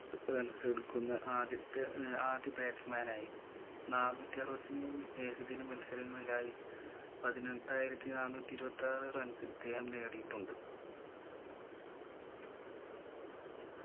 runs എടുക്കുന്ന ആദ്യത്തെ ഏർ ആദ്യ batsman ആയി നാന്നൂറ്റി അറുപത്തി മൂന്ന് ഏകദിന മത്സരങ്ങളിലായി പതിനെട്ടായിരത്തി നാന്നൂറ്റി ഇരുപത്താറ് runs ഇദ്ദേഹം നേടിയിട്ടുണ്ട്